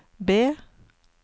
B